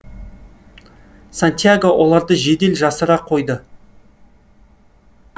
сантьяго оларды жедел жасыра қойды